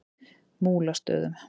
Múlastöðum